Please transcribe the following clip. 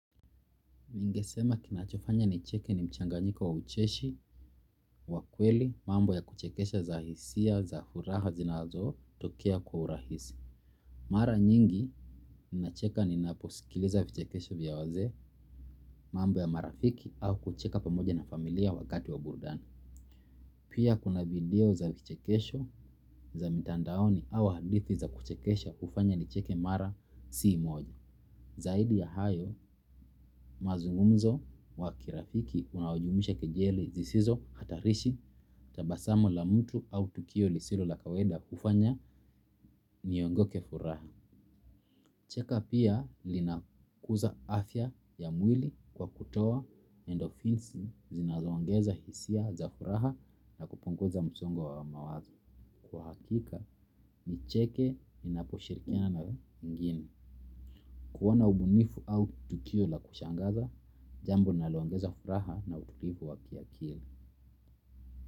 Ningesema kinachofanya ni cheke ni mchanganyika wa ucheshi wa kweli mambo ya kuchekesha za hisia za furaha zinazo tokea kwa urahisi. Mara nyingi, ninacheka ni naposikiliza vichekesho vya wazee mambo ya marafiki au kucheka pamoja na familia wakati wa burudani. Pia kuna video za vichekesho za mitandaoni au hadithi za kuchekesha hufanya ni cheke mara si moja. Zaidi ya hayo, mazungumzo wa kirafiki unaojumuisha kejeli zisizo hatarishi tabasamu la mtu au tukio lisilo la kawaida kufanya niongo ke furaha. Cheka pia linakuza afya ya mwili kwa kutoa endofinsi zinazoangeza hisia za furaha na kupungoza msongo wa mawazo. Kwa hakika, nicheke inaposhirikiana na wengine. Kuwa na ubunifu au tukio la kushangaza, jambo linalo ongeza furaha na utulivu wa kia kili.